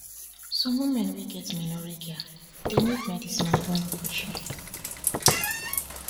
some women wey get menorrhagia dey need medicine or even operation